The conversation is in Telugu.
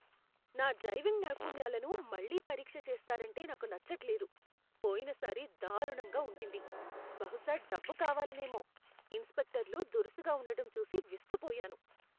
నా డ్రైవింగ్ నైపుణ్యాలను మళ్లీ పరీక్ష చేస్తారంటే నాకు నచ్చట్లేదు. పోయినసారి దారుణంగా ఉండింది. బహుశా డబ్బు కావాలనేమో, ఇన్స్పెక్టర్లు దురుసుగా ఉండటం చూసి విస్తుపోయాను.